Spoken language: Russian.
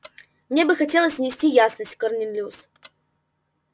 мне бы хотелось внести ясность корнелиус